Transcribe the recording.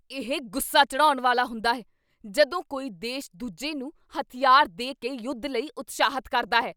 ਇਹ ਗੁੱਸਾ ਚੜ੍ਹਾਉਣ ਵਾਲਾ ਹੁੰਦਾ ਹੈ ਜਦੋਂ ਕੋਈ ਦੇਸ਼ ਦੂਜੇ ਨੂੰ ਹਥਿਆਰ ਦੇ ਕੇ ਯੁੱਧ ਲਈ ਉਤਸ਼ਾਹਿਤ ਕਰਦਾ ਹੈ।